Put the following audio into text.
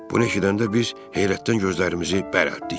Bunu eşidəndə biz heyrətdən gözlərimizi bərəldik.